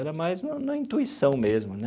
Era mais na na intuição mesmo né.